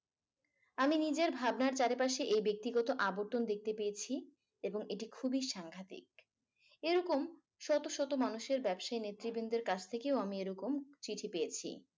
আমি নিজের ভাবনার চারিপাশে এই ব্যক্তিগত আবর্তন দেখতে পেয়েছি এবং এটি খুবই সাংঘাতিক। এরকম শত শত মানুষের ব্যবসায় নেতৃবৃন্দের মানুষের কাছ থেকেও আমি এরকম চিঠি পেয়েছি।